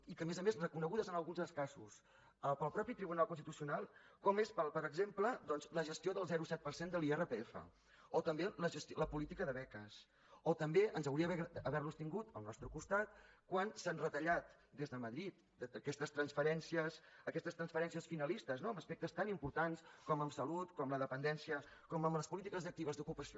i que a més a més reconeguts en alguns dels casos pel mateix tribunal constitucional com és per exemple la gestió del zero coma set per cent de l’irpf o també la política de beques o també ens hauria agradat haver los tingut al nostre costat quan s’han retallat des de madrid aquestes transferències finalistes no en aspectes tan importants com en salut com la dependència com en les polítiques actives d’ocupació